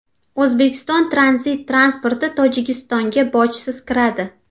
O‘zbekiston tranzit transporti Tojikistonga bojsiz kiradi.